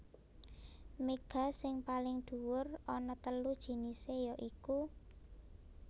Méga sing paling dhuwur ana telu jinisé ya iku